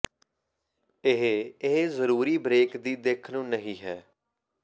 ਇਹ ਇਹ ਜ਼ਰੂਰੀ ਬ੍ਰੇਕ ਦੀ ਦਿੱਖ ਨੂੰ ਨਹੀ ਹੈ